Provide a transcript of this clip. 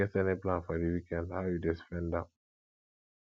you get any plan for di weekend how you dey spend am